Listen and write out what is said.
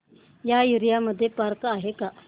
या एरिया मध्ये पार्क आहे का